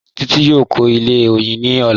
Títí yóò kọ̀ ilẹ̀ oyin ní ọ̀lá